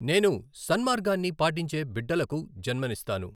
నేను సన్మార్గాన్ని పాటించే బిడ్డలకు జన్మనిస్తాను !